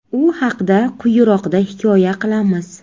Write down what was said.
U haqda quyiroqda hikoya qilamiz.